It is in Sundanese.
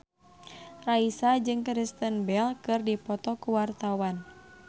Raisa jeung Kristen Bell keur dipoto ku wartawan